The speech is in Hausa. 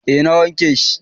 eh na wanke shi